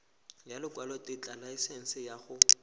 ya lekwalotetla laesense ya go